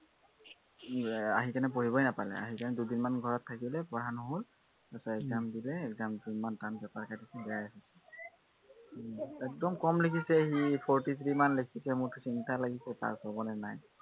উম এৰ আহি কেনে পঢ়িবই নাপালে। আহি কেনে দুদিনমান ঘৰত থাকিলে পঢ়া নহল তাৰপিছত exam দিলে exam ত ইমান টান paper কাটিছে, বেয়া হৈছে উম একদম কম লিখিছে সি, forty three মান লিখিছে, মোৰতো চিন্তা লাগিছে pass হবনে নাই